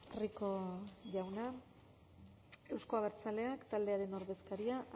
eskerrik asko rico jauna euzko abertzaleak taldearen ordezkaria